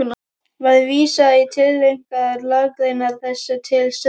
Var vísað í tilteknar lagagreinar þessu til stuðnings.